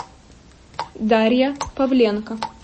дарья павленко